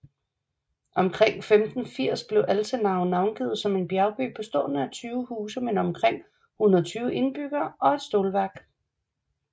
Omkring 1580 blev Altenau navngivet som en bjergby bestående af 20 huse med omkring 120 indbyggere og et stålværk